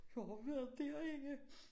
Jeg har været derinde